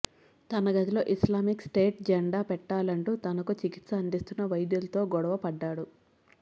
తన గదిలో Islamic State జెండా పెట్టాలంటూ తనకు చికిత్స అందిస్తున్న వైద్యులతో గొడవ పడ్డాడు